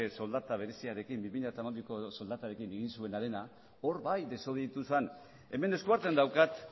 soldata bereziarekin bi mila hamabiko soldatarekin egin zuena hor bai desobeditu zen hemen eskuartean daukat